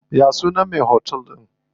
Ya sunan me otel din?